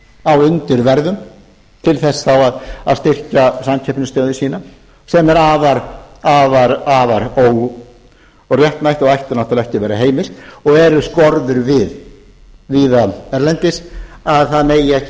á undirverði til þess þá að styrkja samkeppnisstöðu sína sem er afar óréttmætt og ætti náttúrlega ekki að vera heimilt og eru skorður við víða erlendis að það megi ekki